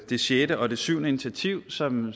det sjette og det syvende initiativ som